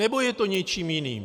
Nebo je to něčím jiným?